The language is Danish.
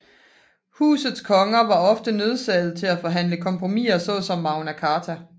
Husets konger var ofte nødsaget til at forhandle kompromiser såsom Magna Carta